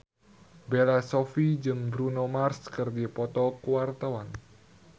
Bella Shofie jeung Bruno Mars keur dipoto ku wartawan